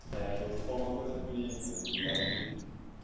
É, porque você falou uma coisa bonita e acho que